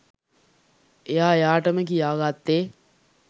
එයා එයාටම කියාගත්තේ